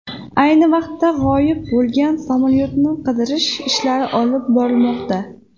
Ayni vaqtda g‘oyib bo‘lgan samolyotni qidirish ishlari olib borilmoqda.